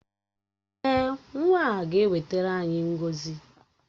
Èè, nwa a ga-ewetara anyị ngọzi